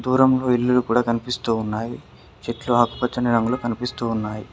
దూరంలో ఇల్లులు కూడా కనిపిస్తూ ఉన్నాయి చెట్లు ఆకుపచ్చని రంగులో కనిపిస్తూ ఉన్నాయి.